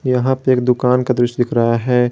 यहां पे एक दुकान का दृश्य दिख रहा है।